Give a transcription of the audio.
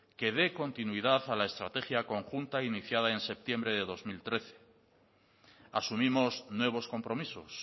que dé continuidad a la estrategia conjunta iniciada en septiembre de dos mil trece asumimos nuevos compromisos